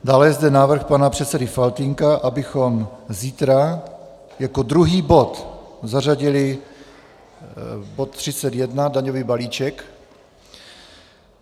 Dále je zde návrh pana předsedy Faltýnka, abychom zítra jako druhý bod zařadili bod 31 - daňový balíček.